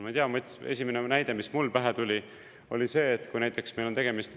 Ma ei tea, esimene näide, mis mul pähe tuli, oli see, et kui näiteks meil on tegemist ...